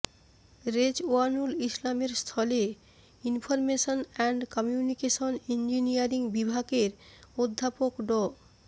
রেজওয়ানুল ইসলামের স্থলে information and communication engineering বিভাগের অধ্যাপক ড